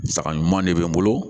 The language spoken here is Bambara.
Saga ɲuman de bɛ n bolo